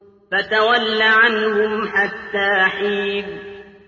فَتَوَلَّ عَنْهُمْ حَتَّىٰ حِينٍ